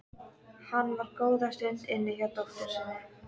Hann var góða stund inni hjá dóttur sinni.